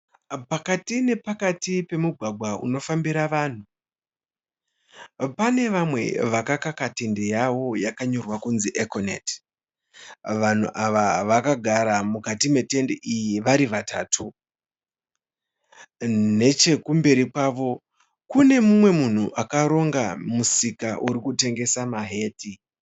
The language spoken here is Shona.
Pakati nepakati pemugwagwa unofambira vanhu. Pane vamwe vakaka tende yavo yakanyorwa kunzi Econet. Vanhu ava vakagara mukati metende iyi vari vatatu. Nechekumberi kwavo kune mumwe munhu akaronga musika urikutengesa mahati .